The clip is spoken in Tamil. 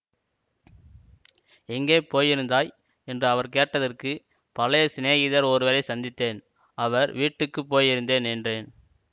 எங்கே போயிருந்தாய் என்று அவர் கேட்டதற்கு பழைய சிநேகிதர் ஒருவரைச் சந்தித்தேன் அவர் வீட்டுக்கு போயிருந்தேன் என்றேன்